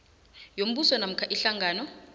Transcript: yombuso namkha ihlangano